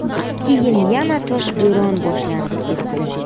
Keyin yana toshbo‘ron boshlanib ketdi.